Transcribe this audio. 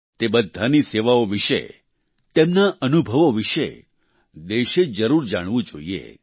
તે બધાની સેવાઓ વિશે તેમના અનુભવો વિશે દેશે જરૂર જાણવું જોઈએ